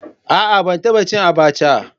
A'a ban taba cin abacha.